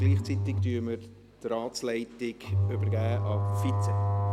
Gleichzeitig übergebe ich die Ratsleitung an den Vize.